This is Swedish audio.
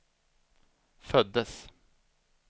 föddes